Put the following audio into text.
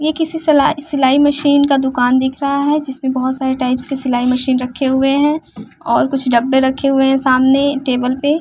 ये किसी सिलाय सिलाई मशीन का दुकान दिख रहा है जिसमें बहुत सारे टाइप्स सिलाई मशीन रखे हुए हैं और कुछ डब्बे रखे हुए हैं सामने टेबल पे --